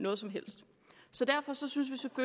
noget som helst så derfor synes vi